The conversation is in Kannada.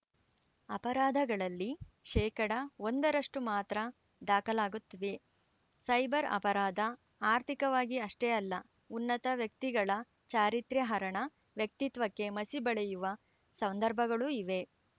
ಅಪರಾಧಗಳಲ್ಲಿ ಶೇಕಡಾ ಒಂದರಷ್ಟುಮಾತ್ರ ದಾಖಲಾಗುತ್ತಿವೆ ಸೈಬರ್‌ ಅಪರಾಧ ಆರ್ಥಿಕವಾಗಿ ಅಷ್ಟೇ ಅಲ್ಲ ಉನ್ನತವ್ಯಕ್ತಿಗಳ ಚಾರಿತ್ರ್ಯಹರಣ ವ್ಯಕ್ತಿತ್ವಕ್ಕೆ ಮಸಿ ಬಳಿಯುವ ಸಂದರ್ಭಗಳೂ ಇವೆ